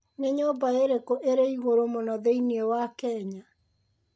Nĩ nyũmba ĩrĩkũ ĩrĩ igũrũ mũno thĩinĩ wa Kenya?